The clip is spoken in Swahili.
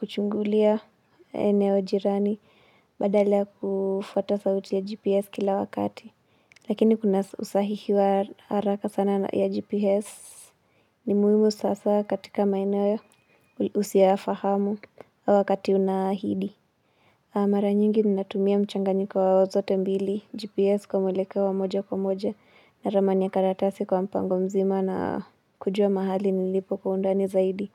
kuchungulia eneo jirani badala ya kufuata sauti ya GPS kila wakati. Lakini kuna usahihi wa haraka sana ya GPS ni muhimu sasa katika maeneo usioyafahamu au wakati unaahidi. Mara nyingi ninatumia mchanganyiko wa zote mbili, GPS kwa mwelekeo wa moja kwa moja na ramani ya karatasi kwa mpango mzima na kujua mahali nilipo kwa undani zaidi.